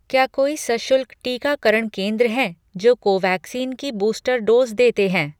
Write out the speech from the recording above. क्या कोई सशुल्क टीकाकरण केंद्र हैं जो कोवैक्सीन की बूस्टर डोज़ देते हैं